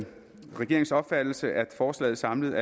regeringens opfattelse er at forslaget samlet